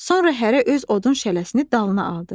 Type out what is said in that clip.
Sonra hərə öz odun şələsini dalına aldı.